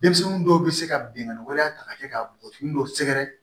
Denmisɛnnin dɔw bɛ se ka binkani wɛrɛ ta ka kɛ ka bɔgɔfin dɔ sɛgɛrɛ